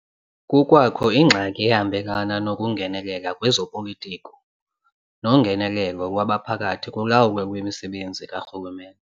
Kukwakho ingxaki ehambelana nokungenelela kwezopolitiko nongenelelo lwabaphathi kulawulo lwemisebenzi karhulumente.